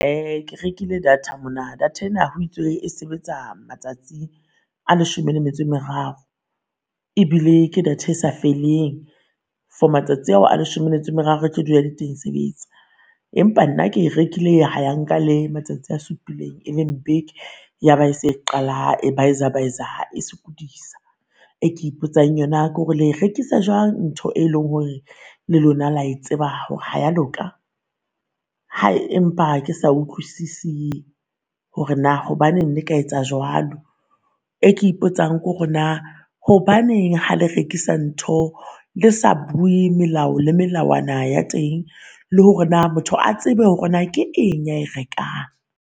Uh ke rekile data mona, data ena ho itswe e sebetsa matsatsi a leshome le metso e meraro ebile ke data sa feeleng for matsatsi ao a leshome le metso e meraro e dula e le teng e sebetsa. Empa nna ke e rekile ha ya nka le matsatsi a supileng e leng beke ya ba e se e qala e baiza-baiza e sokodisa. E ke ipotsang yona kore le e rekisa jwang ntho e leng hore le lona la e tseba hore ha ya loka? Hayi empa ha ke sa utlwisisi hore naa hobaneng le ka etsa jwalo. E ke ipotsang kore naa hobaneng ha le rekisa ntho le sa bue melao le melawana ya teng, le hore naa motho a tsebe hore naa ke eng ya e rekang.